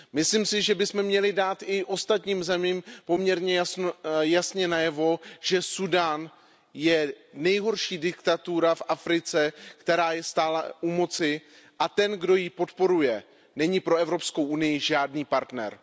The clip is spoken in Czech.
Myslím si, že bychom měli dát i ostatním zemím poměrně jasně najevo, že Súdán je nejhorší diktatura v Africe, která je stále u moci, a ten, kdo ji podporuje, není pro Evropskou unii žádný partner.